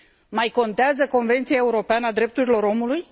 Mai contează Convenția Europeană a Drepturilor Omului?